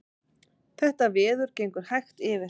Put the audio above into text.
Þetta veður gengur hægt yfir